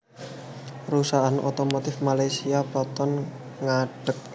Perusahaan otomotif Malaysia Proton ngadeg